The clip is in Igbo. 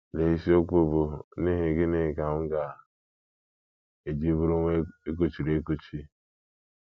Lee isiokwu bụ́ “ N’ihi Gịnị Ka M Ga - eji Bụrụ Nwa E Kuchiri Ekuchi? ”